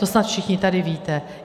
To snad všichni tady víte.